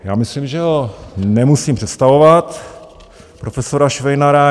Já myslím, že ho nemusím představovat, profesora Švejnara.